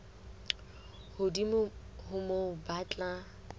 hodimo ho moo ba tla